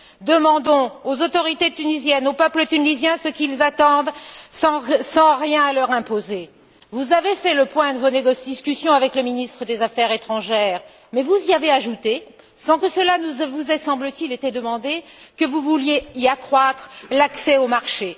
Demandons aux autorités tunisiennes, au peuple tunisien, ce qu'ils attendent sans rien leur imposer. Vous avez fait le point de vos discussions avec le ministre des affaires étrangères, mais vous avez ajouté sans que cela ne vous ait, semble t il, été demandé, que vous vouliez y accroître l'accès au marché.